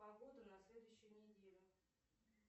погода на следующую неделю